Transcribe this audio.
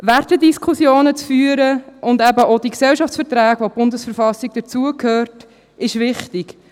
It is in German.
Wertediskussionen zu führen und eben auch zu den Gesellschaftsverträgen, zu denen die BV dazugehört, ist wichtig;